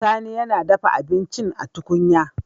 Sani yAna dafa abincin a tukunya